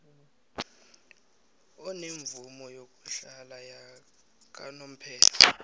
onemvumo yokuhlala yakanomphela